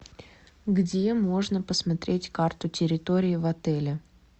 где можно посмотреть карту территории в отеле